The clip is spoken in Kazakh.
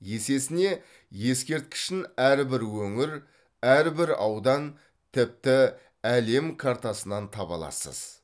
есесіне ескерткішін әрбір өңір әрбір аудан тіпті әлем картасынан таба аласыз